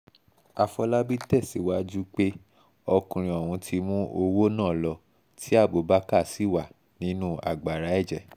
àfọlábí tẹ̀síwájú pé ọkùnrin ọ̀hún ti mú owó náà lọ tí abubakar sì wà nínú agbára ẹ̀jẹ̀